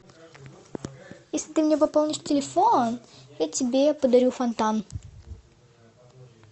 если ты мне пополнишь телефон я тебе подарю фонтан